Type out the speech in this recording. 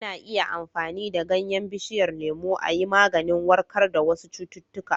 Ana iya amfani da ganyen bishiyar lemu a yi maganin warkar da wasu cututtuka.